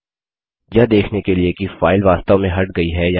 यह देखने के लिए कि फाइल वास्तव में हट गई है या नहीं